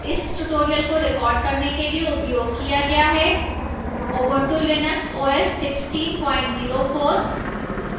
इस tutorial को recorded करने के लिए उपयोग किया गया है: ubuntu linux os 1604